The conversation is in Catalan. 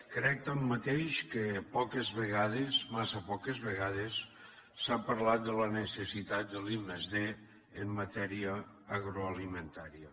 crec tanmateix que poques vegades massa poques vegades s’ha parlat de la necessitat de l’i+d en matèria agroalimentària